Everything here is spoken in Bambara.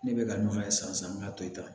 Ne bɛ ka ɲɔgɔn ye sisan me ka to yen